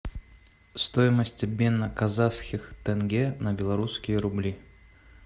стоимость обмена казахских тенге на белорусские рубли